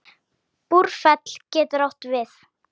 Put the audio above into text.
Búrfell getur átt við